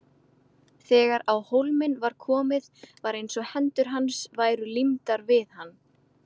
Þegar á hólminn var komið var eins og hendur hans væru límdar við hann.